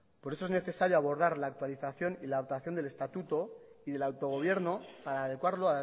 por eso es necesario abordar la actualización y la adaptación del estatuto y del autogobierno para adecuarlo